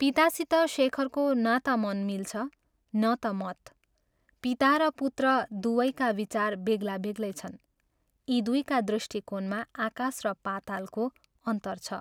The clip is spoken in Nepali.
पितासित शेखरको न ता मन मिल्छ न ता मत पिता र पुत्र दुवैका विचार बेग्ला बेग्लै छन् यी दुइका दृष्टिकोणमा आकाश र पातालको अन्तर छ।